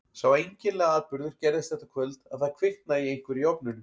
Sá einkennilegi atburður gerðist þetta kvöld að það kviknaði í einhverju í ofninum.